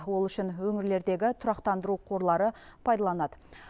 ол үшін өңірлердегі тұрақтандыру қорлары пайдаланады